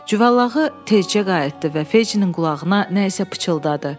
Cüvəllağı tezcə qayıtdı və Fecinin qulağına nəysə pıçıldadı.